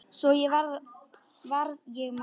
Svo varð ég mamma.